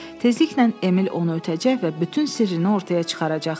Tezliklə Emil onu ötəcək və bütün sirrini ortaya çıxaracaqdı.